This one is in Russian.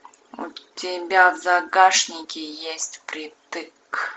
у тебя в загашнике есть впритык